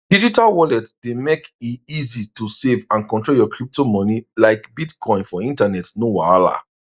digital wallet dey mek e easy to save and control your crypto money like bitcoin for internet no wahala